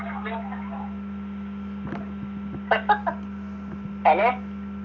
hello